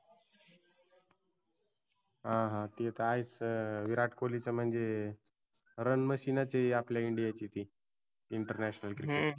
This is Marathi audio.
हां हां ते तर आहेच विराट कोल्हीच म्हणजे run machine च आहे आपल्या India ची ती. international cricket